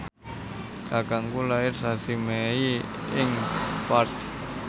kakangku lair sasi Mei ing Perth